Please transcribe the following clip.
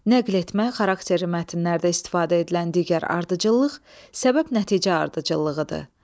Nəql etmə xarakterli mətnlərdə istifadə edilən digər ardıcıllıq səbəb-nəticə ardıcıllığıdır.